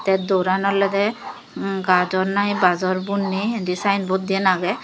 ay dooran olodey gajor nai bajor bunney indi sign board diyen agye.